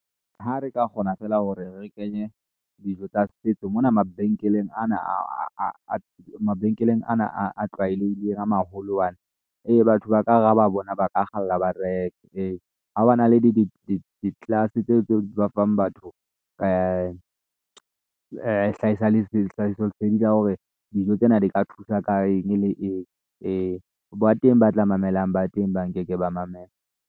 Ha re ka kgona feela hore re kenye dijo tsa setso mona mabenkeleng a na a tlwaelehileng a maholo a na ee, batho ba ka re ha ba bona, ba ka kgalla ba reke ee, hwa ba na le di class-e tseo ba fang batho hlahiso lesedi la hore dijo tsena di ka thusa ka eng le eng ee. Ba teng ba tla mamelang ba teng ba nkeke ba mamela.